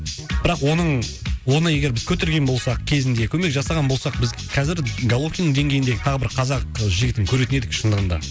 бірақ оның оны егер біз көтерген болсақ кезінде көмек жасаған болсақ біз қазір головкиннің деңгейіндегі тағы бір қазақ жігітін көретін едік шындығында